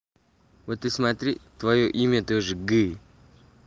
вот и смотри твоё имя тоже г